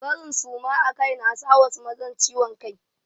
Barin suma akai na sa wasu mazan ciwon kai.